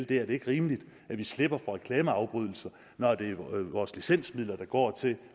det er det ikke rimeligt at vi slipper for reklameafbrydelser når det er vores licensmidler der går til